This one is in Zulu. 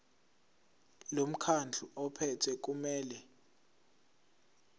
lomkhandlu ophethe kumele